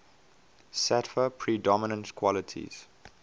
sattva predominant qualities